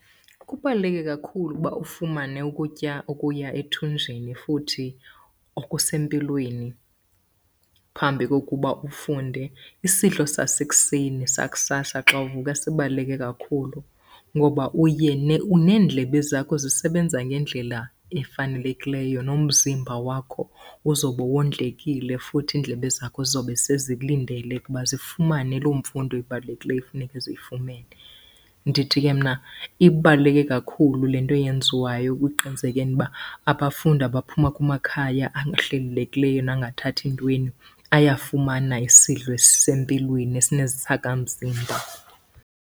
Kubaluleke kakhulu uba ufumane ukutya okuya ethunjini futhi okusempilweni phambi kokuba ufunde. Isidlo sasekuseni sakusasa xa uvuka sibaluleke kakhulu ngoba uye neendlebe zakho zisebenza ngendlela efanelekileyo. Nomzimba wakho uzobe wondlekile, futhi iindlebe zakho zizobe sezilindele ke ukuba zifumane loo mfundo ibalulekileyo ekufuneke ziyifumene. Ndithi ke mna ibaluleke kakhulu le nto yenziwayo ekuqinisekeni uba abafundi abaphuma kumakhaya ahlelelekileyo nangathathi ntweni ayafumana isidlo esisempilweni esinesakhamzimba.